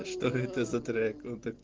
что это за трек он так